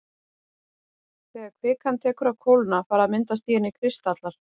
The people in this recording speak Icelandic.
Þegar kvikan tekur að kólna fara að myndast í henni kristallar.